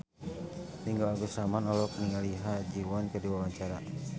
Ringgo Agus Rahman olohok ningali Ha Ji Won keur diwawancara